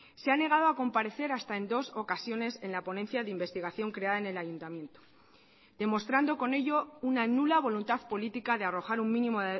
se ha negado a comparecer hasta en dos ocasiones en la ponencia de investigación creada en el ayuntamiento demostrando con ello una nula voluntad política de arrojar un mínimo